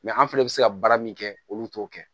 an fɛnɛ bɛ se ka baara min kɛ olu t'o kɛ